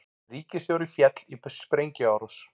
Ríkisstjóri féll í sprengjuárás